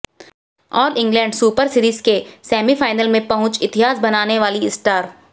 आल England super series के semifinal में पहुंच इतिहास बनाने वाली स्टार